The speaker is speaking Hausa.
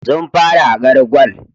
Sun fara hakar gwal